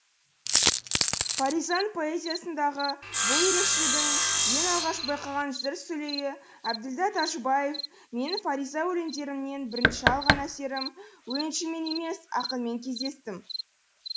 фаризаның поэзиясындағы бұл ерекшелігін ең алғаш байқаған жыр сүлейі әбділдә тәжібаев менің фариза өлеңдерінен бірінші алған әсерім өлеңшімен емес ақынмен кездестім